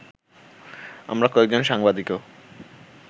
আমরা কয়েকজন সাংবাদিকও